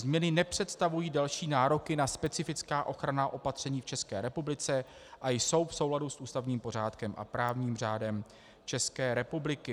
Změny nepředstavují další nároky na specifická ochranná opatření v České republice a jsou v souladu s ústavním pořádkem a právním řádem České republiky.